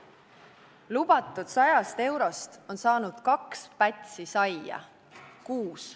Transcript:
Lubatud 100-st eurost on saanud kaks pätsi saia kuus.